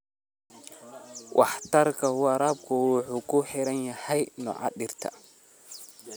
Waxtarka waraabku wuxuu ku xiran yahay nooca dhirta.